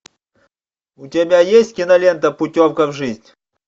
у тебя есть кинолента путевка в жизнь